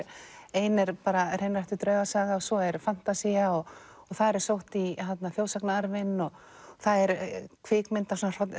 ein er hreinræktuð draugasaga svo er fantasía og þar er sótt í þjóðsagnaarfinn og það er svona